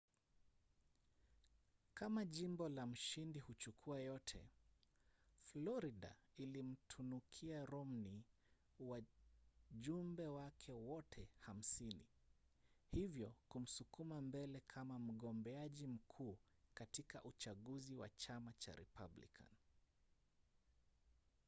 kama jimbo la mshindi-huchukua-yote. florida ilimtunukia romney wajumbe wake wote hamsini hivyo kumsukuma mbele kama mgombeaji mkuu katika uchaguzi wa chama cha republican